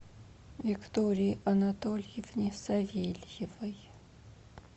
виктории анатольевне савельевой